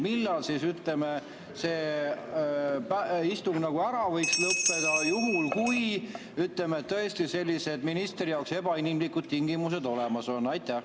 Millal siis, ütleme, see istung ära võiks lõppeda juhul kui, ütleme, tõesti sellised ministri jaoks ebainimlikud tingimused on?